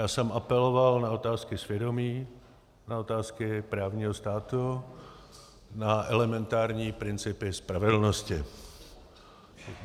Já jsem apeloval na otázky svědomí, na otázky právního státu, na elementární principy spravedlnosti.